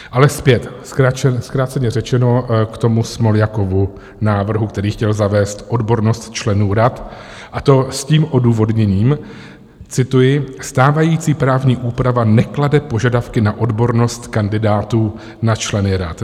Ale zpět, zkráceně řečeno, k tomu Smoljakovu návrhu, který chtěl zavést odbornost členů rad, a to s tím odůvodněním - cituji: "Stávající právní úprava neklade požadavky na odbornost kandidátů na členy rad."